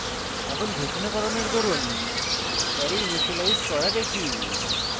এখন ঘোষণাকরণের দরুন array ইনিসিয়েলাইজ করা দেখি